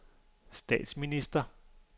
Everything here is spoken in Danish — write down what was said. statsminister